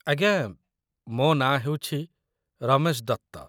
ଆଜ୍ଞା, ମୋ ନାଁ ହେଉଛି ରମେଶ ଦତ୍ତ